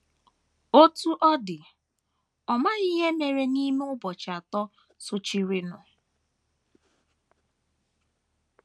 Otú ọ dị, ọ maghị ihe mere n’ime ụbọchị atọ sochirinụ.